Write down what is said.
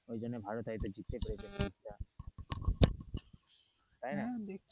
ওই জন্য ভারত হয় তো জিততে পেরেছিলাম ম্যাচ টা তাই না,